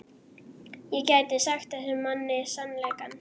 Ég gæti sagt þessum manni sannleikann.